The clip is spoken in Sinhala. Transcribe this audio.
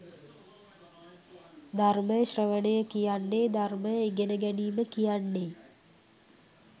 ධර්මය ශ්‍රවණය කියන්නේ ධර්මය ඉගෙන ගැනීම කියන්නේ.